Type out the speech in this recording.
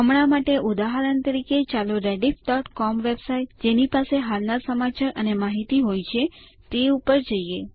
હમણાં માટે ઉદાહરણ તરીકે ચાલો rediffસીઓએમ વેબસાઇટ જેની પાસે હાલના સમાચાર અને માહિતી હોય છે તે ઉપર જઈએ